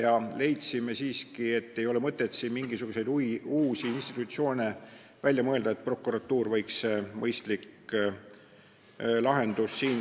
Me leidsime siiski, et ei ole mõtet siin mingisuguseid uusi institutsioone välja mõelda, et prokuratuur võiks siinkohal olla mõistlik lahendus.